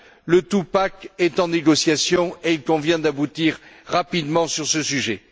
Le two pack est en négociation et il convient d'aboutir rapidement sur ce sujet.